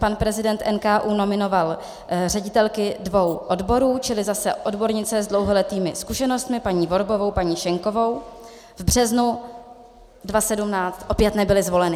Pan prezident NKÚ nominoval ředitelky dvou odborů, čili zase odbornice s dlouholetými zkušenostmi, paní Vorbovou, paní Schenkovou, v březnu 2017 opět nebyly zvoleny.